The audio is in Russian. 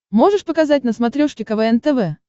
можешь показать на смотрешке квн тв